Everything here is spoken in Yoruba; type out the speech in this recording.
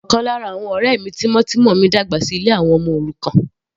Ọ̀kan lára àwọn ọ̀rẹ́ mi tímọ́tímọ́ mi dàgbà sí ilé àwọn ọmọ òrukàn.